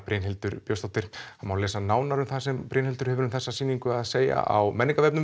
Brynhildur Björnsdóttir það má lesa nánar það sem Brynhildur hefur um þessa sýningu að segja á